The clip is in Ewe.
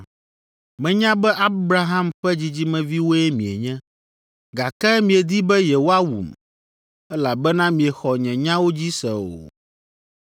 Menya be Abraham ƒe dzidzimeviwoe mienye. Gake miedi be yewoawum, elabena miexɔ nye nyawo dzi se o.